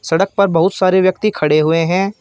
सड़क पर बहुत सारे व्यक्ति खड़े हुए हैं।